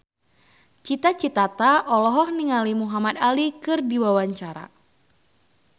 Cita Citata olohok ningali Muhamad Ali keur diwawancara